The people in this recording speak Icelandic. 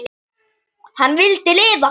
Hann vildi lifa.